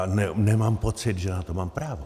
A nemám pocit, že na to mám právo.